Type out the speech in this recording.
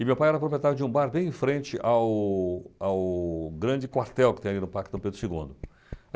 E meu pai era o proprietário de um bar bem em frente ao ao grande quartel que tem ali no Parque São Pedro segundo.